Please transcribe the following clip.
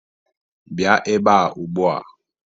Bịa ebea ugbua!